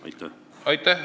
Aitäh!